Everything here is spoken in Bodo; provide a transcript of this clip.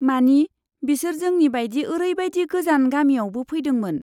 मानि, बिसोर जोंनि बायदि ओरैबादि गोजान गामियावबो फैदोंमोन।